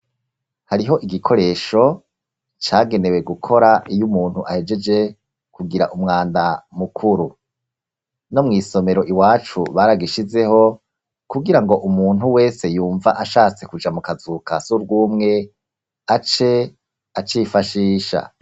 Hariho igikoresho cagenewe gukora iyo umuntu ahegeje kugira umwanda mukuru. No mw'isomero iwacu baragishizeho kugira ngo umuntu wese yumva ashatse kuja mu kazu ka surwumwe ace acifashisha.